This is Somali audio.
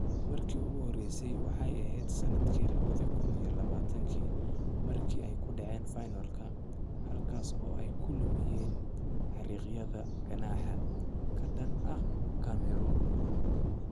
Markii ugu horreysay waxay ahayd sanadkii lawadhi kun iyo lawa markii ay ku dheceen finalka, halkaas oo ay ku lumiyeen xariiqyada ganaaxa ka dhan ah Cameroon.